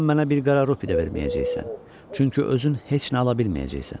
Sən mənə bir qara rubi də verməyəcəksən, çünki özün heç nə ala bilməyəcəksən.